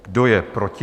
Kdo je proti?